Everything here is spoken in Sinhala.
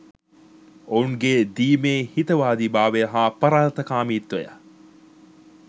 ඔවුන් ගේ දීමේ හිතවාදිභාවය හා පරාර්ථකාමිත්වය